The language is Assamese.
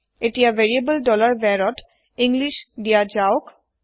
এতিয়া ভেৰিয়েবল var ত ইংলিছ দিয়া যাওক